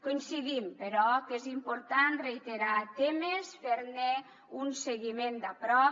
coincidim però que és important reiterar temes fer ne un seguiment de prop